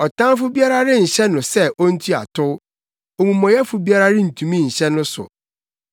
Ɔtamfo biara renhyɛ no sɛ ontua tow; omumɔyɛfo biara rentumi nhyɛ no so.